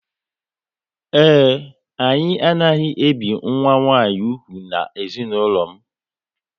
Ee, anyị anaghị ebi nwa nwanyị úgwù na ezinụlọ m